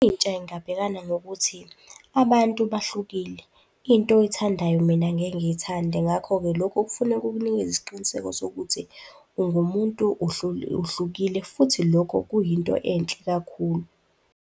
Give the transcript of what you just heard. Intsha ingabhekana nokuthi abantu bahlukile. Into oyithandayo mina angeke ngiyithande, ngakho-ke lokho kufuneka kukunikeza isiqiniseko sokuthi ungumuntu uhlukile, futhi lokho kuyinto enhle kakhulu.